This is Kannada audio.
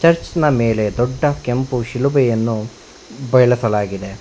ಚರ್ಚ್ನ ಮೇಲೆ ದೊಡ್ಡ ಕೆಂಪು ಶಿಲುಭೆಯನ್ನು ಬಯಲಸಳಾಗಿದೆ.